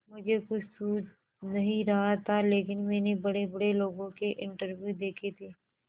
मुझे कुछ सूझ नहीं रहा था लेकिन मैंने बड़ेबड़े लोगों के इंटरव्यू देखे थे